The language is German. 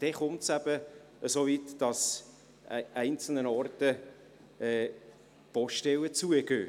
Dann kommt es eben so weit, dass an einzelnen Orten Poststellen schliessen.